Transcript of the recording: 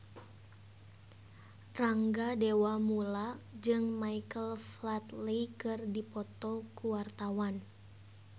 Rangga Dewamoela jeung Michael Flatley keur dipoto ku wartawan